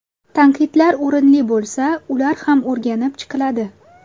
Tanqidlar o‘rinli bo‘lsa, ular ham o‘rganib chiqiladi.